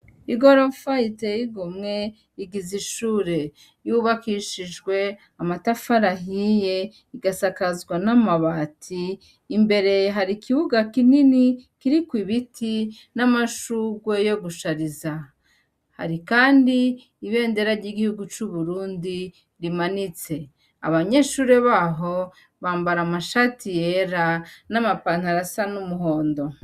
I goromfa yiteigomwe igiza ishure yubakishijwe amatafarahiye igasakazwa n'amabati imbere hari ikibuga kinini kiriko ibiti n'amashugwe yo gushariza hari, kandi ibendera ry'igihugu c'uburundi rimane nitse abanyeshure baho bambara amashati yera n'amapantarasa n'umuhondo.